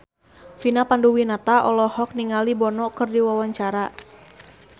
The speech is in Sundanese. Vina Panduwinata olohok ningali Bono keur diwawancara